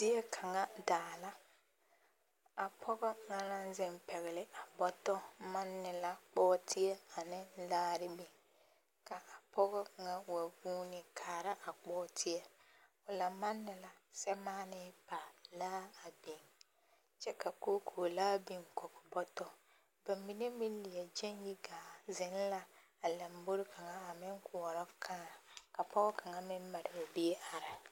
Zie kaŋa daa la, a pɔgɔ na naŋ zeŋ pɛgele a bɔtɔ manne la bɔɔdeɛ ane laare biŋ ka a pɔgɔ kaŋa wa guuni kaara a bɔɔdeɛ o la manne la samaanee pa laa a biŋ kyɛ ka kookoolaa biŋ kɔge bɔtɔ bamine meŋ leɛ gyɛŋ yi gaa zeŋ la a lombori kaŋa a meŋ koɔrɔ kãã ka pɔge kaŋa meŋ mare o biŋ are.